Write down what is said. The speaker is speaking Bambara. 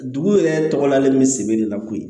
Dugu yɛrɛ tɔgɔ lalen bɛ se de la koyi